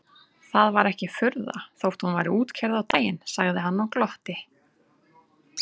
Það var ekki furða þótt hún væri útkeyrð á daginn sagði hann og glotti.